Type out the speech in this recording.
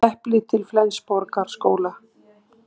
Gulleplið til Flensborgarskóla